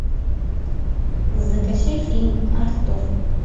закачай фильм артур